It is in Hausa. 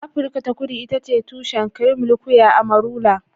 Afirka ta Kudu ita ce tushen cream liqueur amarula.